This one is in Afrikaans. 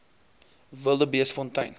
wildebeestfontein